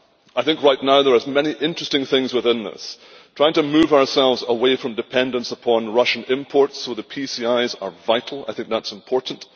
I think right now there are many interesting things within this trying to move ourselves away from dependence upon Russian imports, so the PCIs are vital I think that is important